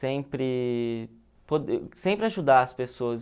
sempre sempre ajudar as pessoas.